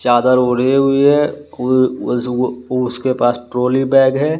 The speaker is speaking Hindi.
चादर ओढ़ी हुई है उ उएस उ उसके पास ट्रोली बैग है।